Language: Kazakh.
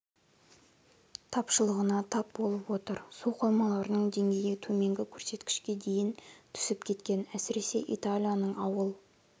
тапшылығына тап болып отыр су қоймаларының деңгейі төменгі көрсеткішке дейін түсіп кеткен әсіресе италияның ауыл